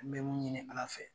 An be mun ɲini Ala fɛ